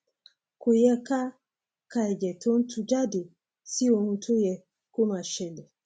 kò yẹ ká ka ẹjẹ tó ń tuú jáde sí ohun tó yẹ kó máa ṣẹlẹ